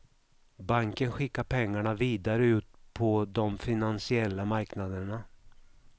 Banken skickar pengarna vidare ut på de finansiella marknaderna.